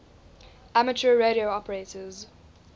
amateur radio operators